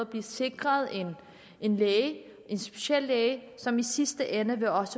blive sikret en læge en speciallæge som i sidste ende også